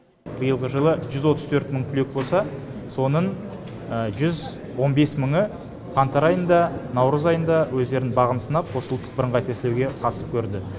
биылғы жылы жүз отыз төрт мың түлек болса соның жүз он бес мыңы қаңтар айында наурыз айында өздерінің бағын сынап осы ұлттық бірыңғай тестілеуге қатысып көрді